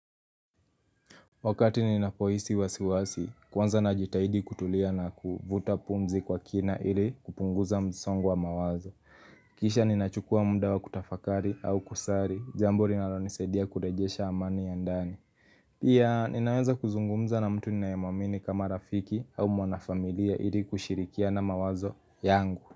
Wakati ninapohisi wasiwasi, kwanza najitahidi kutulia na kuvuta pumzi kwa kina ili kupunguza msongo wa mawazo. Kisha ninachukua muda kutafakari au kusari, jambo linalonisaidia kurejesha amani ya ndani. Pia, ninaweza kuzungumza na mtu ninayemwamini kama rafiki au mwana familia ili kushirikiana mawazo yangu.